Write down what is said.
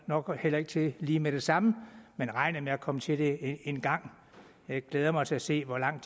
nok heller ikke til lige med det samme men regner med at komme til det engang jeg glæder mig til at se hvor lang